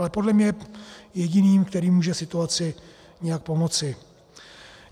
Ale podle mě je jediným, který může situaci nějak pomoci.